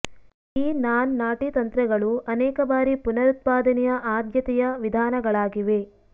ಈ ನಾನ್ ನಾಟಿ ತಂತ್ರಗಳು ಅನೇಕ ಬಾರಿ ಪುನರುತ್ಪಾದನೆಯ ಆದ್ಯತೆಯ ವಿಧಾನಗಳಾಗಿವೆ